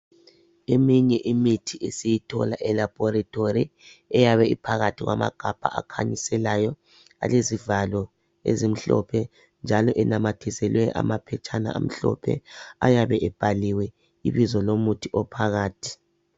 Eminye imithi esiyithola e laboratory eyabe iphakathi kwamagabha akhanyiselayo , alezivalo ezimhlophe njalo enamathiselwe amaphetshana amhlophe ayabe ebhaliwe ibizo lomuthi ophakathi